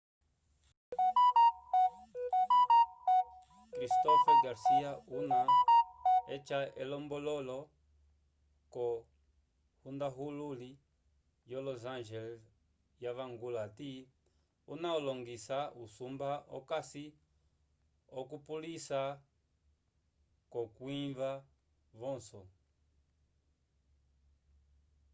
cristopher garcia una eca elombololo ko hundahululi yo los angeles wavangula ati una olingisa usumba okasi okupulisa ko kwinyiva vonso